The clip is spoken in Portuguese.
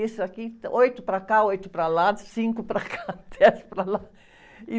Isso aqui, oito para cá, oito para lá, cinco para cá, dez para lá. E...